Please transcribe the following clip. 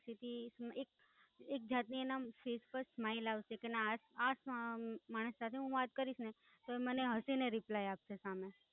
પછી, હમમમ, એક, એક જાતની એમના Face પર Smile આવશે કે ના, ના આ માણસ સાથે હું વાત કરીશ ને તો ઈ મને હસીને Reply આપશે સામે.